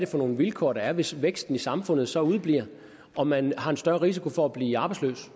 for nogle vilkår der er hvis væksten i samfundet så udebliver og man har en større risiko for at blive arbejdsløs